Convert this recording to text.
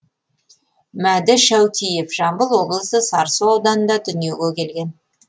мәді шәутиев жамбыл облысы сарысу ауданында дүниеге келген